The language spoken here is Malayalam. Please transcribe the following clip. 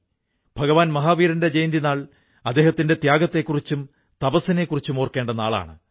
ഭഗവാൻ മാഹാവീരന്റെ ജയന്തിനാൾ അദ്ദേഹത്തിന്റെ ത്യാഗത്തെക്കുറിച്ചും തപസ്സിനെക്കുറിച്ചും ഓർക്കേണ്ട നാളാണ്